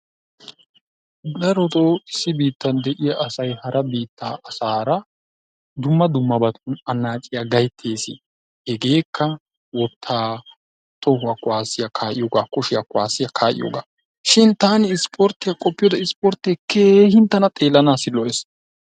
Darotoo issi biittan de'iya asay hara biittaa asaara dumma dummaban annaaciya gayttees. Hegeekka wottaa, tohuwa kuwasiya kaa'iyogaa, kushiya kuwasiya kaa'iyogaa. Shin taani isipporttiya qoppiyode isipporttee keehin tani xeellanaassi lo''ees.